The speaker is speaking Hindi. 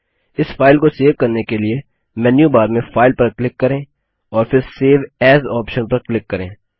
इस फाइल को सेव करने के लिए मेन्यू बार में फाइल पर क्लिक करें और फिर सेव एएस ऑप्शन पर क्लिक करें